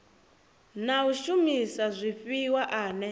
na u shumisa zwifhiwa ane